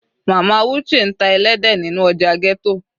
Mama Uche ń ta ẹlẹ́dẹ̀ nínú ọjà ghetto.